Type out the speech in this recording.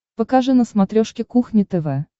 покажи на смотрешке кухня тв